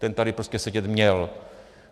Ten tady prostě sedět měl.